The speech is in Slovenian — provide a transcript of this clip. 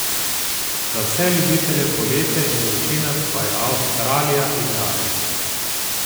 Za vse ljubitelje poletja in vročine pa je Avstralija idealna!